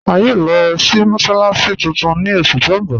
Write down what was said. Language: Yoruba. A yòò lọ sí mọ́sálàssí tuntun ni oṣù tó n bọ̀.